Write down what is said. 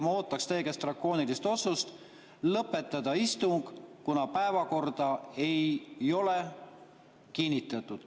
Ma ootaksin teilt drakoonilist otsust lõpetada istung, kuna päevakorda ei ole kinnitatud.